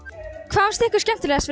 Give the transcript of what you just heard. fannst ykkur skemmtilegast